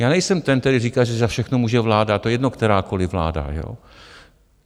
Já nejsem ten, který říká, že za všechno může vláda, to je jedno, kterákoliv vláda.